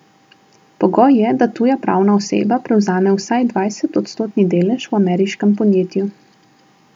Pogoj je, da tuja pravna oseba prevzame vsaj dvajsetodstotni delež v ameriškem podjetju.